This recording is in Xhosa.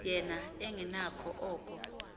yena engenakho oko